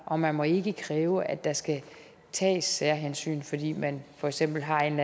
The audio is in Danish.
og man må ikke kræve at der skal tages særhensyn fordi man for eksempel har en